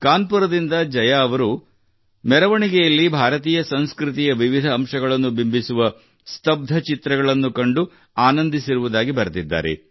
ಕಾನ್ಪುರದಿಂದ ಜಯಾ ಅವರು ಮೆರವಣಿಗೆಯಲ್ಲಿ ಭಾರತೀಯ ಸಂಸ್ಕೃತಿಯ ವಿವಿಧ ಅಂಶಗಳನ್ನು ಬಿಂಬಿಸುವ ಸ್ಥಬ್ದ ಚಿತ್ರಗಳನ್ನು ಕಂಡು ಆನಂದಿಸಿರುವುದಾಗಿ ಬರೆದಿದ್ದಾರೆ